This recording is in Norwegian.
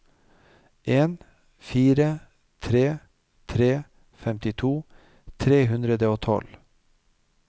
en fire tre tre femtito tre hundre og tolv